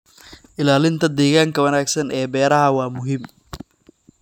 Ilaalinta deegaanka wanaagsan ee beeraha waa muhiim.